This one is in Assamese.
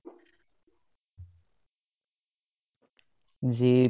যি